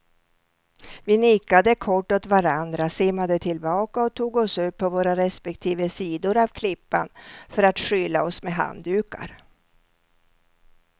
Vi nickade kort åt varandra, simmade tillbaka och tog oss upp på våra respektive sidor av klippan för att skyla oss med handdukar.